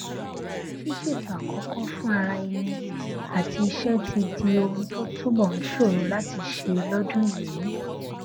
ṣíṣètò àkókò fún ara ẹni àti iṣé ti di ohun tó túbò ń ṣòro láti ṣe lódún yìí